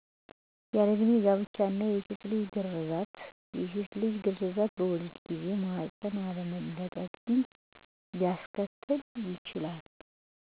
ያለእድሜ ጋብቻ እና የሴትልጅ ግረዛት የሴትልጅ ግረዛት በወሊድ ጊዜ ማህፀን አለመለጥ